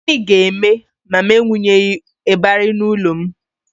Gịnị ga-eme ma m ewunyeghi ịbarị n'ụlọ m?